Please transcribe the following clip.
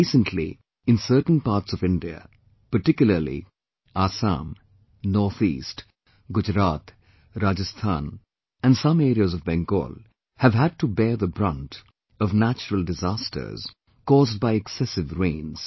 Recently, in certain parts of India, particularly, Assam, NorthEast, Gujarat, Rajasthan and some areas of Bengal, have had to bear the brunt of natural disasters, caused by excessive rains